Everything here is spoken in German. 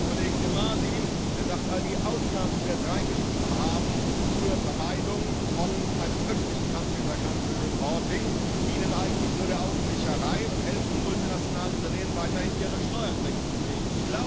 Wir haben den Kollegen De Masi, der sagt, all die Ausnahmen, die wir jetzt reingeschrieben haben zur Vermeidung von einem öffentlichen dienen eigentlich nur der Augenwischerei und helfen multinationalen Unternehmen, weiterhin ihre Steuertricks zu pflegen.